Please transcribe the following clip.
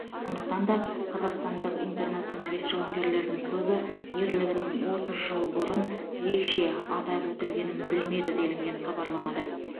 сондықтан да қазақстандық интернационалист жауынгерлердің көбі ерлігінің отыз жыл бұрын ерекше атап өтілгенін білмеді делінген хабарламада